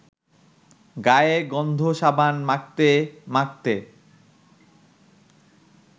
গায়ে গন্ধ-সাবান মাখতে মাখতে